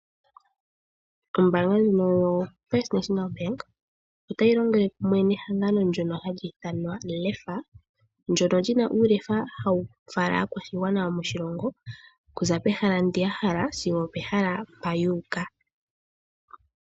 Ombaanga ndjino yoFirst National Bank oyili tayi longele kumwe nehangano ndyono hali ithanwa LEFA, ndyono lyina uulefa hawu fala aakwashigwana moshilongo kuza pehala mpoka ya hala sigo opehala mpoka yuuka.